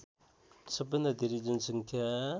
सबैभन्दा धेरै जनसङ्ख्या